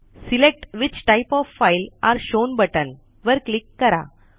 select which type of file are shown button वर click करा